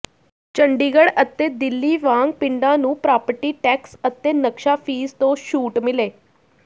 ਚੰਡੀਗੜ੍ਹ ਅਤੇ ਦਿੱਲੀ ਵਾਂਗ ਪਿੰਡਾਂ ਨੂੰ ਪ੍ਰਾਪਰਟੀ ਟੈਕਸ ਅਤੇ ਨਕਸ਼ਾ ਫੀਸ ਤੋਂ ਛੂਟ ਮਿਲੇ